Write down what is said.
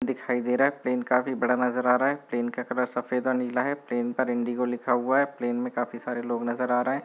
--दिखाई दे रहा है प्लेन काफी बडा नजर आ रहा है प्लेन का कलर सफेद और नीला है प्लेन पर इंडिगो लिखा हुआ है प्लेन में काफी सारे लोग नजर आ रहे हैं।